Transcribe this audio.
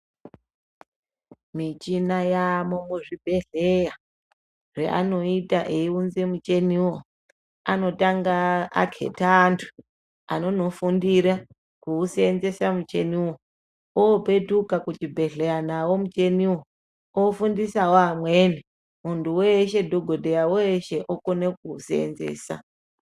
Muchina yavamwo muzvibhedhlera zvavanoita vachiunza muchiniwo anotanga aketa antu anonofundira kuushandisa muchini wo opetuka kuchibhedhlera nnawo muchini wo ofundisawo vamweni muntu weshe dhokodheya okone kuushandisa.